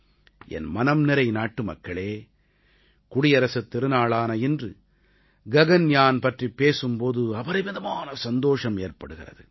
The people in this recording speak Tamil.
என் மனம்நிறை நாட்டுமக்களே குடியரசுத் திருநாளான இன்று ககன்யான் பற்றிப் பேசும் போது அபரிமிதமான சந்தோஷம் ஏற்படுகிறது